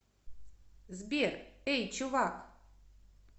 сбер эй чувак